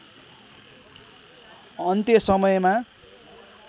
अन्त्य समयमा